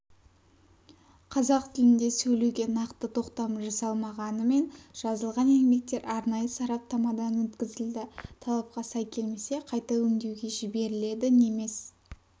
қазақ тілінде сөйлеуге нақты тоқтам жасалмағанымен жазылған еңбектер арнайы сараптамадан өткізілді талапқа сай келмесе қайта өңдеуге жіберіледі немес